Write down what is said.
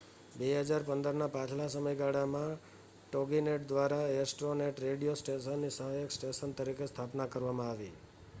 2015ના પાછલા સમયગાળામાં toginet દ્વારા astronet રેડિયો સ્ટેશનની સહાયક સ્ટેશન તરીકે સ્થાપના કરવામાં આવી